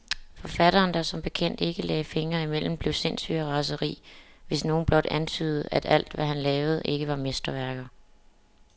Forfatteren, der som bekendt ikke lagde fingrene imellem, blev sindssyg af raseri, hvis nogen blot antydede, at alt, hvad han lavede, ikke var mesterværker.